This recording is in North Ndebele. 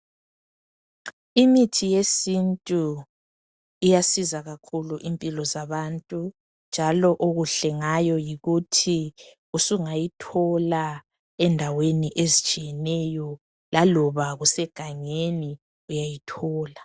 Imithi yesintu iyasiza kakhulu impilo zabantu, njalo okuhle ngayo yikuthi usungayithola endaweni eztshiyeneyo, laloba kusegangeni uyayithola